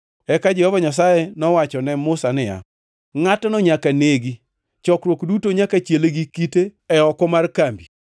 Eka Jehova Nyasaye nowacho ne Musa niya, “Ngʼatno nyaka negi. Chokruok duto nyaka chiele gi kite e oko mar kambi.”